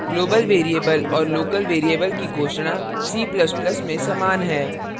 global variable और local variable की घोषणा c ++ में समान है